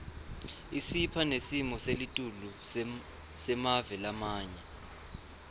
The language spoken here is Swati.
isipha nesimoselitulu semave lamanye